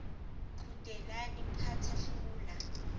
qhudelana phatha hlula